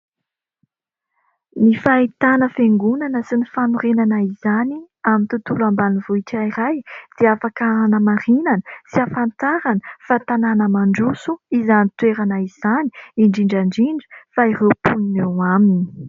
Ny fahitana fiangonana sy ny fanorenana izany amin'ny tontolo ambanivohitra iray dia afaka hanamarinana sy hafantarana fa tanàna mandroso izany toerana izany indrindrandrindra fa ireo mponin eo aminy.